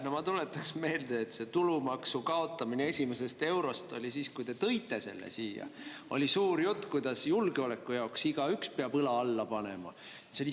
No ma tuletaks meelde, et kui te selle esimesest eurost tulumaksu siia tõite, siis oli suur jutt, kuidas julgeoleku heaks peab igaüks õla alla panema.